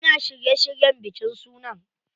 Yana shirye shiryen bikin sunan.